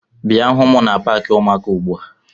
Bia hụ m na paakị ụmụaka ugbu a!